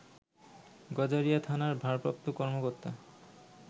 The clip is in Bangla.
গজারিয়া থানার ভারপ্রাপ্ত কর্মকর্তা